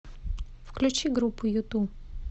включи группу юту